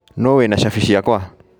No wĩna cabi ciakwa?